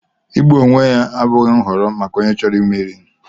Igbu onwe ya abụghị nhọrọ maka onye chọrọ imeri.